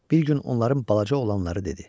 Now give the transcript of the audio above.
Bir gün onların balaca oğlanları dedi.